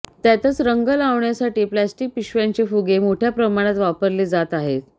त्यातच रंग लावण्यासाठी प्लास्टिक पिशव्यांचे फुगे मोठ्या प्रमाणात वापरले जात आहेत